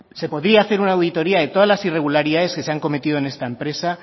se podría hacer una auditoría de todas las irregularidades que se han cometido en esta empresa